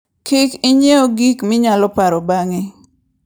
Kik ing'iew gik minyalo paro bang'e.